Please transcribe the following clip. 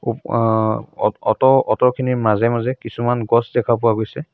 ওৱা অ অ অট' অট' খিনিৰ মাজে মাজে কিছুমান গছ দেখা পোৱা গৈছে।